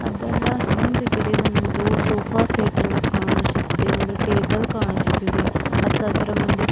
ಅದರ ಹಿಂದುಗಡೆ ಒಂದು ಸೋಫಾ ಸೇಟ್ ಅನ್ನು ಕಾಣಿಸುತ್ತದೆ ಒಂದು ಟೇಬಲ್ ಕಾಣಿಸುತ್ತಿದೆ ಮತ್ತೆ ಅದರ ಮುಂದೆ--